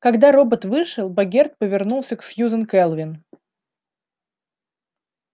когда робот вышел богерт повернулся к сьюзен кэлвин